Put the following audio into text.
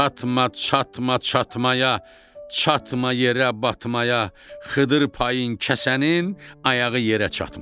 Çatma, çatma, çatmaya, çatma yerə, batmaya Xıdır payın kəsənin ayağı yerə çatmayap.